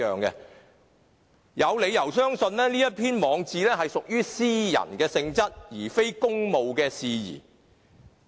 我有理由相信，這篇網誌屬於私人性質，而非公務事宜。